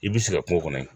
I b'i sigi kungo kɔnɔ